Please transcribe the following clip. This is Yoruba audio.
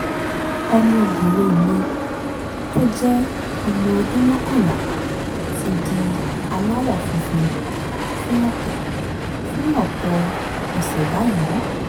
ọmọbìnrin mi tó jẹ́ ọmọ ọdún mọ́kànlá ti di aláwọ̀ funfun fún ọ̀pọ̀ fún ọ̀pọ̀ ọ̀sẹ̀ báyìí